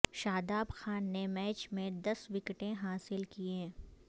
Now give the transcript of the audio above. شاداب خان نے میچ میں دس وکٹیں حاصل کیں